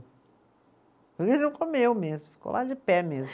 comeu mesmo, ficou lá de pé mesmo.